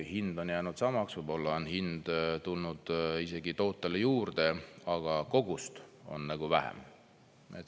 Hind on jäänud samaks, võib-olla on hind tulnud isegi tootele juurde, aga kogust on vähem.